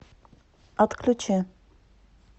отключи